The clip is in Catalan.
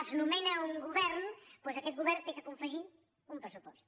es nomena un govern doncs aquest govern ha de confegir un pressupost